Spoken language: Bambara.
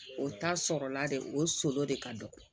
O ta sɔrɔla de o sɔli de ka dɔgɔ